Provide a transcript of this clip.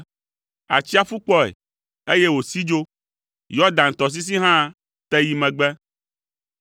Atsiaƒu kpɔe, eye wòsi dzo, Yɔdan tɔsisi hã te yi megbe.